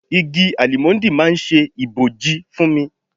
Igi Álímọ́ńdì máa ń ṣe ibòji fún mi.